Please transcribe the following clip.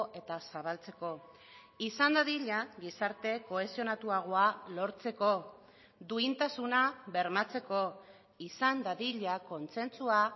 eta zabaltzeko izan dadila gizarte kohesionatuagoa lortzeko duintasuna bermatzeko izan dadila kontsentsua